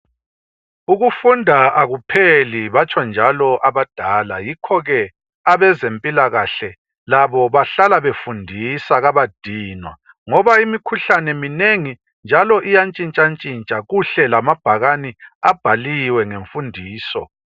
Ukufunda akupheli, batsho njalo abadala. Yikho ke abezempilakahle labo bahlala befundisa kabadinwa. Ngoba imikhuhlane minengi iyantshintsha-ntshintsha. Kuhle lamabhakane abhaliwe ngemfundiso.